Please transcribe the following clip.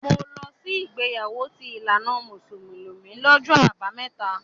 Mò ń lọ sí ìgbéyàwó ti ìlànà mùsùlùmí lọ́jọ́ Àbámẹ́ta.